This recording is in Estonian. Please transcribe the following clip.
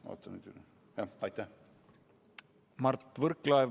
Mart Võrklaev, palun!